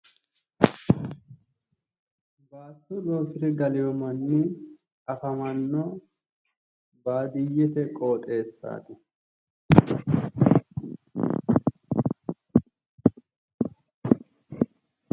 Baatto loosire galeyo manni afamanno baadiyyete qoxeessati.